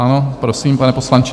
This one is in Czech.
Ano, prosím, pane poslanče.